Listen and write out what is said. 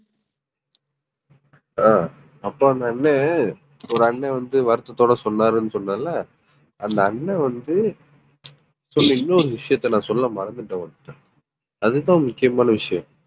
ஆஹ் அப்ப அந்த அண்ணன் ஒரு அண்ணன் வந்து வருத்தத்தோட சொன்னாருன்னு சொன்னேன்ல அந்த அண்ணன் வந்து சொன்ன இன்னொரு விஷயத்த நான் சொல்ல மறந்துட்டேன் உன்கிட்ட அதுதான் முக்கியமான விஷயம்